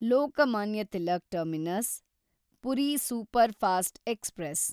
Lokmanya Tilak terminus Puri superfast express